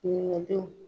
Ɲininkadenw